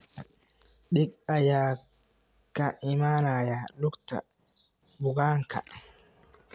Dhiig ayaa ka imaanaya lugta bukaanka.